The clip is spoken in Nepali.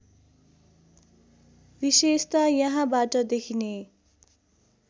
विशेषता यहाँबाट देखिने